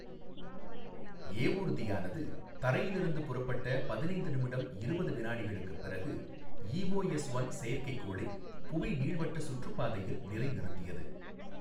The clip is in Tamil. ஏவூர்தியானது தரையில் இருந்து புறப்பட்ட பதினைந்து நிமிடம் இருபது வினாடிகளுக்குப் பிறகு ஈஓஎஸ்ஒன் செயற்கைக் கோளை புவி நீள்வட்ட சுற்றுப் பாதையில் நிலைநிறுத்தியது.